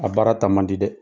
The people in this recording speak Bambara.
A baara taa mandi dɛ.